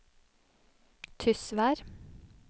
Tysvær